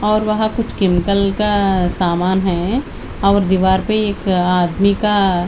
और वहां कुछ केमिकल का समान है और दीवार पे एक आदमी का--